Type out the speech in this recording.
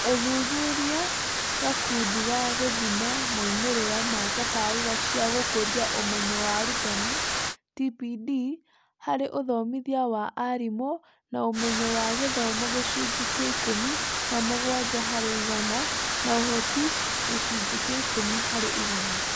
Ũthuthurĩa gakundi wa gũthima moimĩrĩra ma tabarĩĩra cia gũkũria ũmenyo wa arutani (TPD) harĩ uthomithia wa arĩĩmu na ũmenyo wa gĩthomo gĩcunjĩ kĩa ikũmi na mũgwanja harĩ igana, na ũhoti gĩcunjĩ kĩa ikũmi harĩ ĩgana.